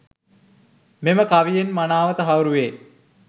මෙම කවියෙන් මනාව තහවුරු වේ.